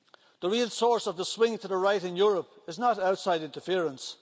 The real source of the swing to the right in Europe is not outside interference.